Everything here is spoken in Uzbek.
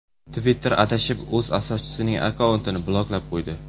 Twitter adashib o‘z asoschisining akkauntini bloklab qo‘ydi .